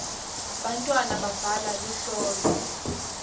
bantwana babhala luhlolo